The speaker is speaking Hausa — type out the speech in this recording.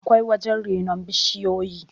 akwai wajen renon bishiyoyi